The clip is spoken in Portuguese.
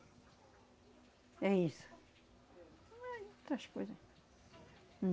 É isso. outras coisas